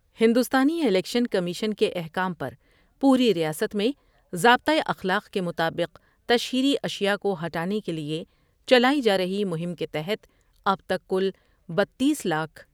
ہندوستانی election commission کے احکام پر پوری ریاست میں ضابطہ اخلاق کے مطابق تشہیری اشیاءکو ہٹانے کے لئے چلائی جارہی مہم کے تحت اب تک کل بتیس لاکھ ۔